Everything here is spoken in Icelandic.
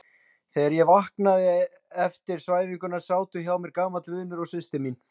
Þegar ég vaknaði eftir svæfinguna sátu hjá mér gamall vinur og systir mín.